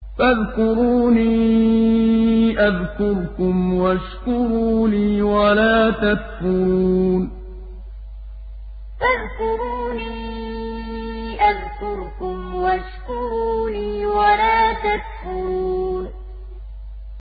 فَاذْكُرُونِي أَذْكُرْكُمْ وَاشْكُرُوا لِي وَلَا تَكْفُرُونِ فَاذْكُرُونِي أَذْكُرْكُمْ وَاشْكُرُوا لِي وَلَا تَكْفُرُونِ